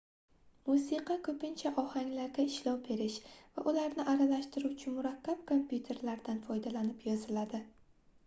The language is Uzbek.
musiqa koʻpincha ohanglarga ishlov berish va ularni aralashtiruvchi murakkab kompyuterlardan foydalanib yoziladi